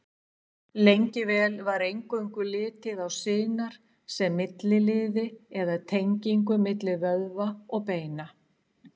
Lengi vel var eingöngu litið á sinar sem milliliði eða tengingu milli vöðva og beina.